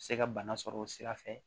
Se ka bana sɔrɔ o sira fɛ